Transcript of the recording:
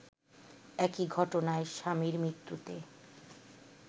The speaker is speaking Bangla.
একই ঘটনায় স্বামীর মৃত্যুতে